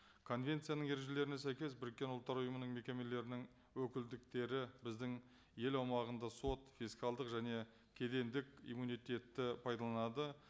конвенцияның ережелеріне сәйкес біріккен ұлттар ұйымының мекемелерінің өкілдіктері біздің ел аумағында сот фискалдық және кедендік иммунитетті пайдаланады